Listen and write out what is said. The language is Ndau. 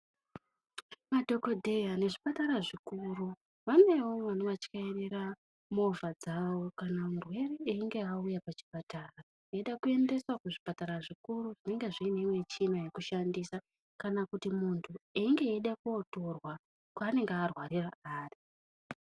Madhokodheya nezvipatara zvikuru vanewo vanovatyairira movha dzavo kana murwere einge auya kuchipatara, eida kuendeswa kuzvipatara zvikuru zvinenge zviine michina yekushandisa kana kuti muntu einga eida kunotorwa kwaanenge arwarira ari.